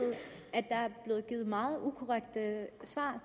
er blevet givet meget ukorrekte svar